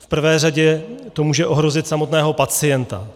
V prvé řadě to může ohrozit samotného pacienta.